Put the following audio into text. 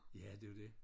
Ja det jo det